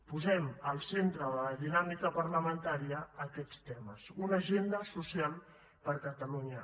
posem al centre de la dinàmica parlamentària aquests temes una agenda social per a catalunya